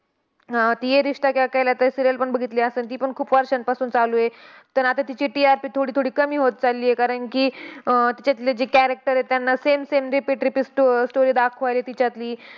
अह ती ये रिश्ता क्या कहलता है serial पण बघितली असेल. ती पण खूप वर्षांपासून चालू आहे. पण आता तिची TRP थोडी थोडी कमी होत चाललीय. कारण की, अह तिच्यातली जी character आहेत, त्यांना same same repeat repeat स्टो story दाखवायला तिच्यातली.